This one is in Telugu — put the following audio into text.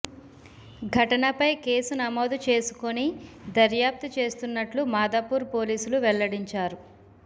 ఘటనపై కేసు నమోదు చేసుకొని దర్యాప్తు చేస్తున్నట్లు మాదాపూర్ పోలీసులు వెల్లడించారు